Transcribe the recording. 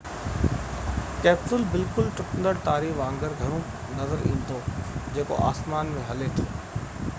capsule بلڪل ٽٽندڙ تاري وانگر گهڻو نظر ايندو جيڪو آسمان ۾ هلي ٿو